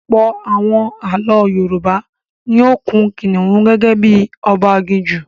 Ọ̀pọ̀ àwọn ààlọ́ Yorùbá ni ó kun kìnìún gẹ́gẹ́ bí i ọba aginjù.